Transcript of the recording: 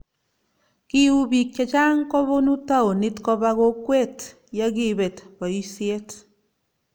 kiuu biik che chang' kobunu townit koba kokwet ya kiibet boisiet